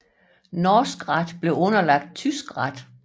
Norsk ret blev underlagt tysk ret